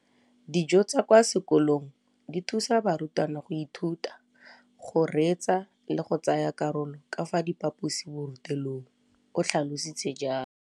Dijo tsa kwa sekolong dithusa barutwana go ithuta, go reetsa le go tsaya karolo ka fa phaposiborutelong, o tlhalositse jalo.